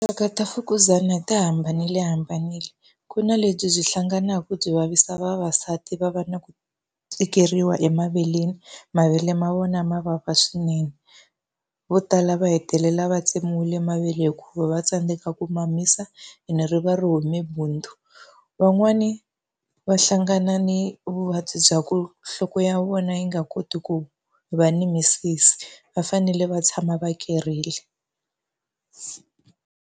Tinxaka ta mfukuzana ti hambanilehambanile. Ku na lebyi byi hlanganaka ku byi vavisa vavasati va va na ku tikeriwa emaveleni, mavele ma vona ma vava swinene. Vo tala va hetelela va tsemiwile mavele hikuva va tsandzeka ku mamisa ene ri va ri hume bundzu. Van'wani va hlangana ni vuvabyi bya ku nhloko ya vona yi nga koti ku va ni misisi, va fanele va tshama va kereke.